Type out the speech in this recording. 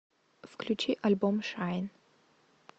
включи альбом шайн